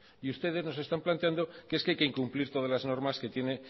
y ustedes nos están planteando que es que hay que incumplir todas las normas que tiene